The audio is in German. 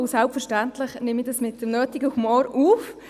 Selbstverständlich nehme ich das mit dem nötigen Humor auf.